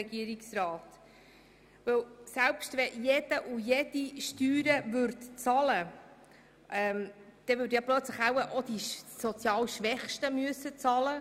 Wenn jede und jeder Steuern zahlen würde, dann würden wohl plötzlich auch die sozial Schwächsten bezahlen müssen.